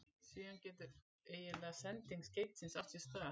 Síðan getur eiginleg sending skeytisins átt sér stað.